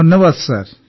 ଧନ୍ୟବାଦ ସାର୍